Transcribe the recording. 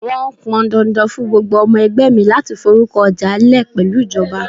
Wọn pọn dandan fún gbogbo ọmọ ẹgbẹ́ mi láti forúkọ ọjà lè pẹ̀lú ìjọba.